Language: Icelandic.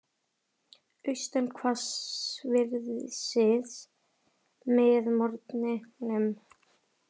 Austan hvassviðri með morgninum